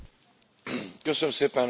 Tisztelt Képviselő Asszony!